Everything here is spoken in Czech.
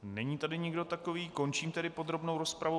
Není tady nikdo takový, končím tedy podrobnou rozpravu.